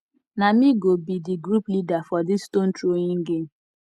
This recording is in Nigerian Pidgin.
na me go be di group leader for dis stone throwing game